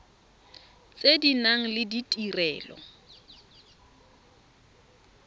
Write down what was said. tse di nang le ditirelo